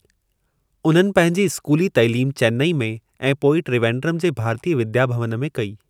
उन्हनि पंहिंजी स्कूली तइलीम चेन्नई में ऐं पोइ त्रिवेंद्रमु जे भारतीय विद्या भवन में कई।